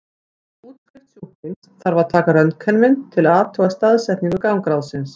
Fyrir útskrift sjúklings þarf að taka röntgenmynd til að athuga staðsetningu gangráðsins.